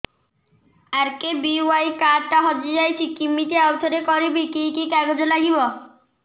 RKBY card ଟା ହଜିଯାଇଛି କିମିତି ଆଉଥରେ କରିବି କି କି କାଗଜ ଲାଗିବ